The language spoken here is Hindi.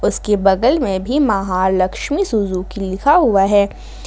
इसके बगल में भी महालक्ष्मी सुजुकी लिखा हुआ है।